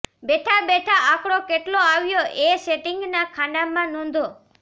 બેઠાં બેઠાં આંકડો કેટલો આવ્યો એ સિટિંગના ખાનાંમાં નોંધો